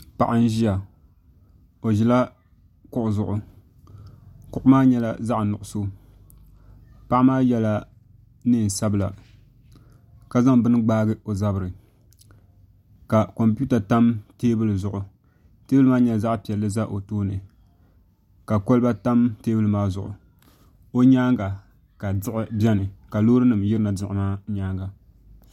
Paɣa n ʒiya o ʒila kuɣu zuɣu kuɣu maa nyɛla zaɣ nuɣso paɣa maa yɛla neen sabila ka zaŋ bini gbaai o zabiri ka kompiuta tam teebuli zuɣu teebuli maa nyɛla zaɣ piɛlli ʒɛ o tooni ka kolba tam teebuli maa zuɣu o nyaanga ka diɣi biɛni ka loori nim yirina diɣi maa nyaanga